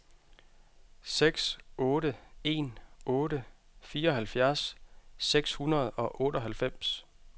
seks otte en otte fireoghalvfjerds seks hundrede og otteoghalvfems